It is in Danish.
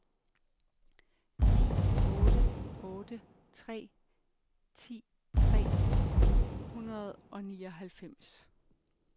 ni otte otte tre ti tre hundrede og nioghalvfems